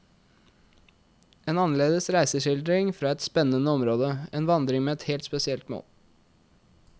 En annerledes reiseskildring fra et spennende område, en vandring med et helt spesielt mål.